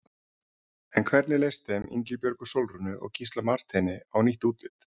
En hvernig leist þeim Ingibjörgu Sólrúnu og Gísla Marteini á nýtt útlit?